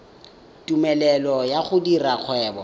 tumelelo ya go dira kgwebo